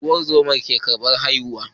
Ungozama ke karbar haihu